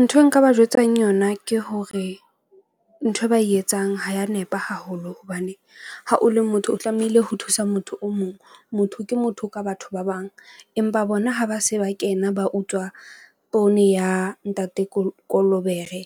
Ntho e nka ba jwetsang yona ke hore nthwe ba e etsang ha ya nepa haholo. Hobane ha o le motho o tlamehile ho thusa motho o mong. Motho ke motho ka batho ba bang empa bona ha ba se ba kena ba utswa poone ya ntate Kolobere